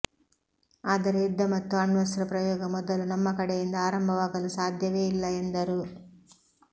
ಆದರೆ ಯುದ್ಧ ಮತ್ತು ಅಣ್ವಸ್ತ್ರ ಪ್ರಯೋಗ ಮೊದಲು ನಮ್ಮ ಕಡೆಯಿಂದ ಆರಂಭವಾಗಲು ಸಾಧ್ಯವೇ ಇಲ್ಲ ಎಂದರು